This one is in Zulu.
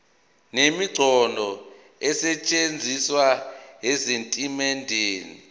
nemiqondo esetshenzisiwe ezitatimendeni